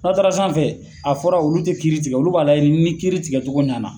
N'aw taara sanfɛn a fɔra , olu tɛ ki tigɛ, olu b'a lajɛ ni kiri tigɛ cogo ɲanna.